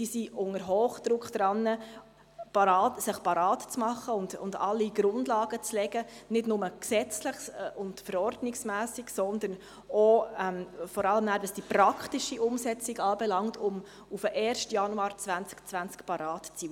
Sie sind unter Hochdruck daran, sich bereit zu machen und alle Grundlagen zu legen, nicht nur gesetzlich und verordnungsmässig, sondern vor allem auch, was die praktische Umsetzung anbelangt, um am 1. Januar 2020 bereit zu sein.